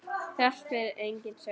Þrátt fyrir eigin sök.